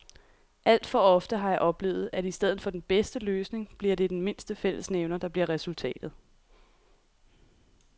Alt for ofte har jeg oplevet, at i stedet for den bedste løsning bliver det den mindste fællesnævner, der bliver resultatet.